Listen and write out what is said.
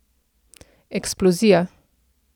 Eksplozija.